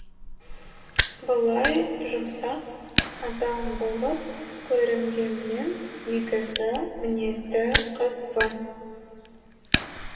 былай жұмсақ адам болып көрінгенмен негізі мінезді қызбын